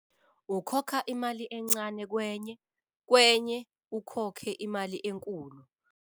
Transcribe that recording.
Ukhokha imali encane kwenye, kwenye ukhokhe imali enkulu.